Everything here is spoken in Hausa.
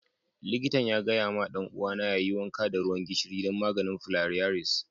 Likatan ya gaya ma dan uwa na yayi wanka da ruwan gishiri dan maganin filariasis.